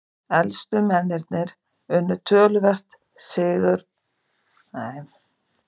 Efstu mennirnir unnu töluvert stigahærri andstæðinga